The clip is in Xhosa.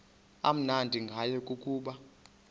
amnandi ngayo kukuba